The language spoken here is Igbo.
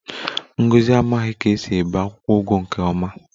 Ngozi amaghi ka esi ebe akwukwo ugu nke oma